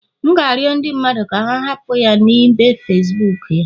M ga-arịọ ndị mmadụ ka ha hapụ ya na ibe Facibuku ya